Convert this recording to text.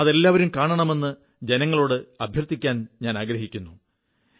അത് എല്ലാവരും കാണണമെന്ന് ജനങ്ങളോട് അഭ്യർഥിക്കാനാഗ്രഹിക്കുന്നു